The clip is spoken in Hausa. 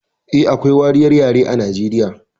Eh, akwai wariyar yare a Nijeriya